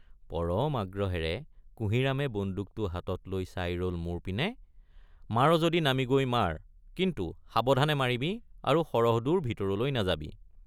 পৰম আগ্ৰহেৰে কুঁহিৰামে বন্দুকটো হাতত লৈ চাই ৰল মোৰ পিনে মাৰ যদি নামি গৈ মাৰ কিন্তু সাৱধানে মাৰিবি আৰু সৰহদূৰ ভিতৰলৈ নাযাবি।